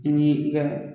I ni i ka